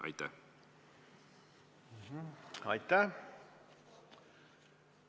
Aitäh!